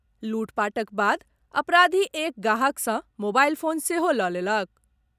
लूटपाटक बाद अपराधी एक गांहक सॅ मोबाईल फोन सेहो लऽ लेलक।